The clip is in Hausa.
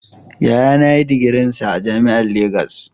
Yayana ya yi digirinsa a jami'ar Legas